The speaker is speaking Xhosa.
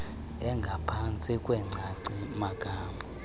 engaphantsi kwengcacio magama